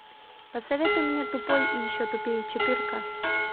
посоветуй мне тупой и еще тупее четырка